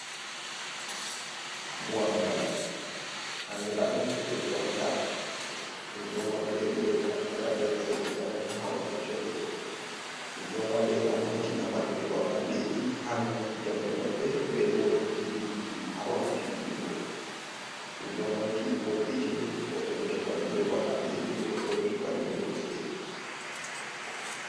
Buwangal andra dum be kwalta, dum don wadirai be naftira be kareji zamanu ha wakkati wadugo dum, dum don wade gam hoitina marbe ba’anteji hanaunuki jamde mabbe be bo jijuguki ha wakkati dillugo dum don moiti vol’itini wobbe do tokka dum be ba’anteji gobe bedo tokka dum be kosde.